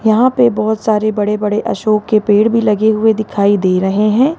यहां पे बहुत सारे बड़े बड़े अशोक के पेड़ भी लगे हुए दिखाई दे रहे हैं।